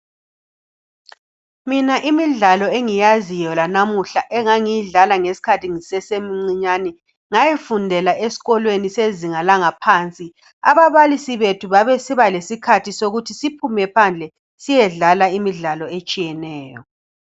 Mina imidlalo engiyaziyo lanamuhla engangiyidlala ngesikhathi ngisesemncinyane ngayifundela esikolweni sezinga langaphansi. Ababalisi bethu babesiba lesikhathi sokuthi siphume phandle siyedlala imidlalo etshiyeneyo.